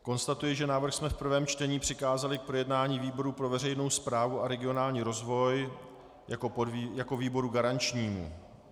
Konstatuji, že návrh jsme v prvém čtení přikázali k projednání výboru pro veřejnou správu a regionální rozvoj jako výboru garančnímu.